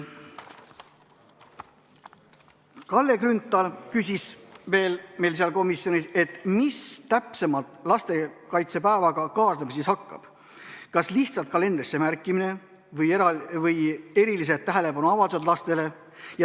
Kalle Grünthal küsis veel komisjonis, mis täpsemalt lastekaitsepäevaga kaasnema hakkab, kas lihtsalt kalendrisse märkimine või erilised tähelepanuavaldused lastele.